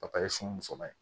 sunba ye